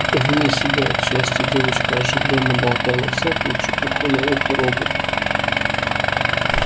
вне себя от счастья девочка оживлённо болтала всякую чепуху на ухо роботу